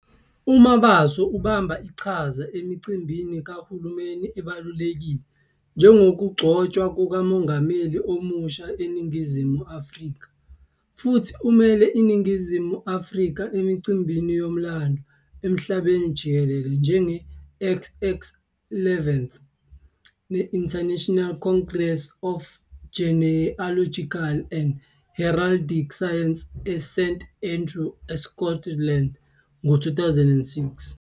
UMabaso ubamba iqhaza emicimbini kahulumeni ebalulekile njengokugcotshwa kukaMongameli omusha waseNingizimu Afrika futhi umele iNingizimu Afrika emicimbini yomlando emhlabeni jikelele, njenge-XXVIIth International Congress of Genealogical and Heraldic Sciences eSt Andrews, eScotland, ngo-2006.